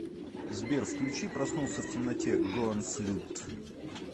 сбер включи проснулся в темноте гонфлад